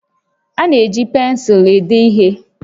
A na-eji pensụlụ ede ihe